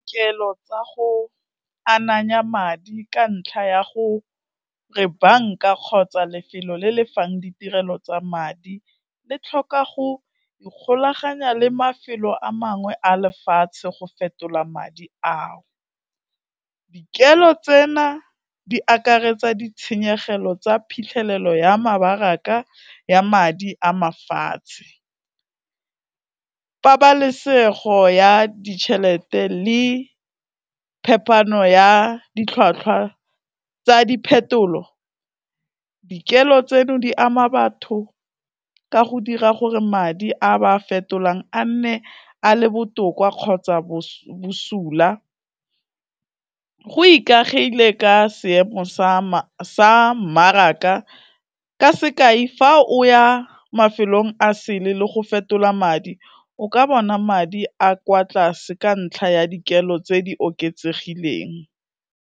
Dikelo tsa go ananya madi ka ntlha ya go re banka kgotsa lefelo le lefang ditirelo tsa madi, le tlhoka go ikgolaganya le mafelo a mangwe a lefatshe go fetola madi ao, dikelo tsena di akaretsa ditshenyegelo tsa phitlhelelo ya mebaraka ya madi a mafatshe, pabalesego ya ditjhelete le phepano ya ditlhwatlhwa tsa diphetolo, dikelo tseno di ama batho ka go dira gore madi a ba fetolang a nne a le botoka kgotsa bosula, go ikagile ka seemo sa mmaraka, ka sekai fa o ya mafelong a sele le go fetola madi o ka bona madi a kwa tlase ka ntlha ya dikelo tse di oketsegileng.